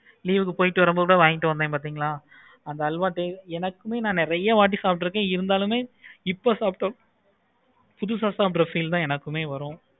leave க்கு போயிட்டு வரும் பொது கூட வாங்கிட்டு வந்திங்களா அந்த அல்வா taste எனக்கும் நா நெறைய வாட்டி சொல்லிருக்கேன் இருந்தாலும் இப்போ சாப்பிடுற புதுசா சாப்பிடுற feel எனக்கும் வரும்.